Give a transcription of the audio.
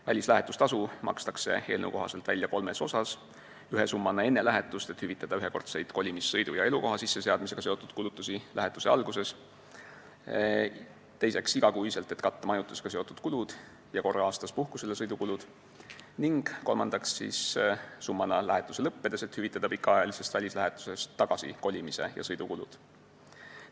Välislähetustasu makstakse eelnõu kohaselt välja kolmes osas: ühe summana enne lähetust, et hüvitada ühekordseid kolimis-, sõidu- ja elukoha sisseseadmisega seotud kulutusi lähetuse alguses, teiseks igakuiselt, et katta majutusega seotud kulud ja korra aastas puhkusele sõidu kulud, ning kolmandaks summana lähetuse lõppedes, et hüvitada pikaajalisest välislähetusest tagasi kolimise ja sõidukulud.